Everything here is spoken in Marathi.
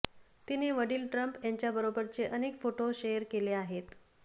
तिने वडील ट्रम्प यांच्या बरोबरचे अनेक फोटो शेअर केले आहेत